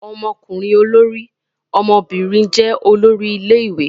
Ọmọkùnrin olórí, ọmọbìnrin jẹ́ olórí ilé-ìwé.